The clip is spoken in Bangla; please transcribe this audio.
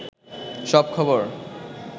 সব খবর